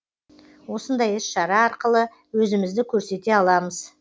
осындай іс шара арқылы өзімізді көрсете аламыз